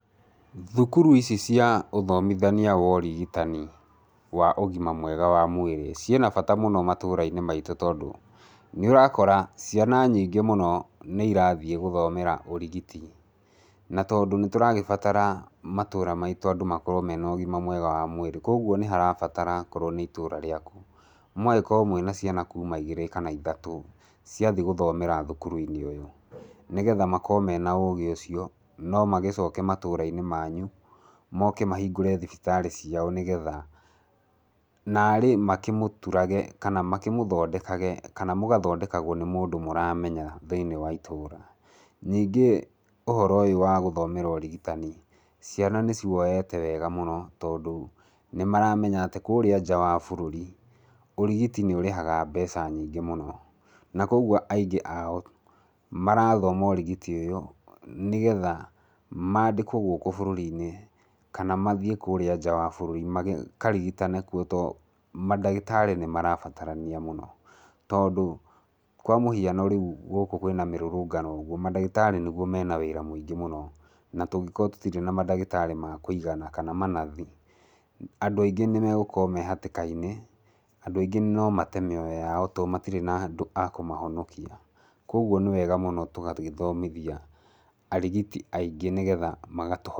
Thukuru ici cia ũthomithania wa ũrigitani wa ũgima mwega wa mwĩrĩ, ciĩna bata mũno matũra-inĩ maitũ tondũ, nĩũrakora ciana nyingĩ mũno, nĩ irathiĩ gũthomera ũrigiti, na tondũ nĩtũragĩbatara matũra maitũ andũ makorwo mena ũgima mwega wa mwĩrĩ, koguo nĩharabatara okorwo nĩ itũra rĩaku, mũgakorwo mwĩna ciana kuma igĩrĩ kana ithatũ, ciathiĩ gũthomera thukuru-inĩ ũyũ, nĩgetha makorwo mena ũgĩ ũcio, no magĩcoke matũra-inĩ manyu, moke mahingũre thibitarĩ ciao, nĩgetha narĩ makĩmũturage kana makĩmũthondekaga, kana mũgathondekagwo nĩ mũndũ mũramenya thĩiniĩ wa itũra. Ningĩ ũhoro ũyũ wa gũthomera ũrigitani, ciana nĩciwoete wega mũno, tondũ nĩmaramenya atĩ kũrĩa nja wa bũrũri, ũrigiti nĩ ũrĩhaga mbeca nyingĩ mũno, na koguo aingĩ ao, maratoma ũrigiti ũyũ, nĩgetha mandĩkwo gũkũ bũrũri-inĩ, kana mathiĩ kũrĩa nja wa bũrũri makarigitane kuo, tondũ mandagĩtarĩ nĩmarabatarania mũno, tondũ kwa mũhiano rĩu gũkũ kwĩna mĩrũrũngano ũguo, mandagĩtarĩ nĩguo mena wĩra mũingĩ mũno, na tũngĩkorwo tũtiri na mandagĩtarĩ ma kũigana kana manathi, andũ aingĩ nĩmegũkorwo me hatĩka-inĩ, andũ aigĩ no mate mĩoyo yao, tondũ matirĩ na andũ a kũmahonokia. Koguo nĩwega mũno tũgagĩthomithia arigitia aingĩ, nĩgetha magatũ...